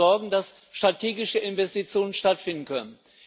Dafür zu sorgen, dass strategische Investitionen stattfinden können.